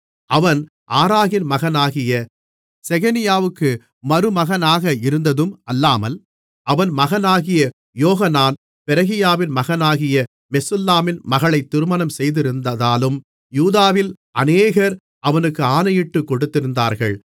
அவன் ஆராகின் மகனாகிய செகனியாவுக்கு மருமகனாக இருந்ததும் அல்லாமல் அவன் மகனாகிய யோகனான் பெரகியாவின் மகனாகிய மெசுல்லாமின் மகளை திருமணம் செய்திருந்ததாலும் யூதாவில் அநேகர் அவனுக்கு ஆணையிட்டுக் கொடுத்திருந்தார்கள்